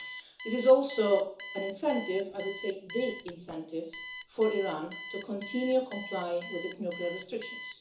This is also an incentive, I would say the incentive, for Iran to continue to comply with its nuclear restrictions.